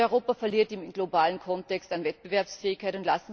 Europa verliert im globalen Kontext an Wettbewerbsfähigkeit.